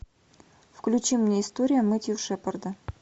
включи мне история мэттью шепарда